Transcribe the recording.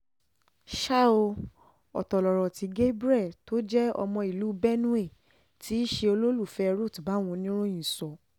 ṣá ò ọ̀tọ̀ lọ̀rọ̀ tí gabriel tó jẹ́ ọmọ ìlú benue tí í ṣe olólùfẹ́ ruth báwọn oníròyìn sọ